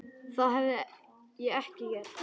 Það hefði ég ekki gert.